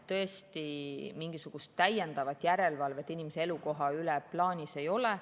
Tõesti, mingisugust täiendavat järelevalvet inimese elukoha üle plaanis ei ole.